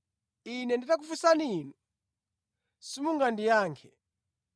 Ine nditakufunsani inu, simungandiyankhe.